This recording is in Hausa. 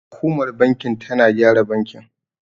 Hukumar bankin tana gyara bakin.